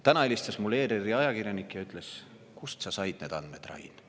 Täna helistas mulle ERR-i ajakirjanik ja küsis: "Kust sa said need andmed, Rain?